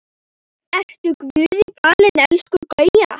Vertu Guði falin elsku Gauja.